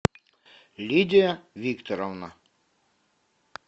лидия викторовна